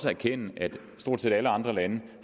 erkende at stort set alle andre lande